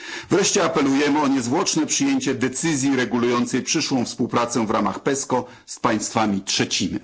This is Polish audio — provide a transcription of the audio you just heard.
Wreszcie apelujemy o niezwłoczne przyjęcie decyzji regulującej przyszłą współpracę w ramach PESCO z państwami trzecimi.